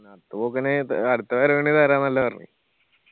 അടുത്ത പോക്കിന് അടുത്ത വരവിന് താരാന്നല്ല പറഞ്ഞിന്